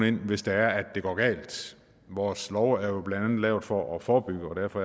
ind hvis det er at det går galt vores lov er jo blandt andet lavet for at forebygge og derfor